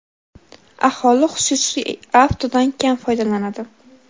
aholi xususiy avtodan kam foydalanadi.